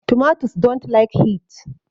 Tomatoes dont like heat